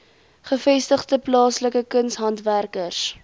gevestigde plaaslike kunshandwerkers